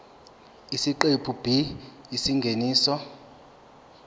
isiqephu b isingeniso